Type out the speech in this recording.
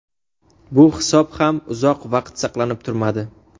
Bu hisob ham uzoq vaqt saqlanib turmadi.